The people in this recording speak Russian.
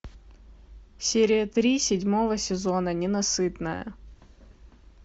серия три седьмого сезона ненасытная